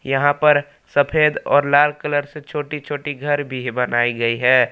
यहां पर सफेद और लाल कलर से छोटी छोटी घर भी बनाई गई है।